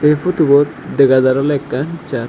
ei futubot dega jar oley ekkan church.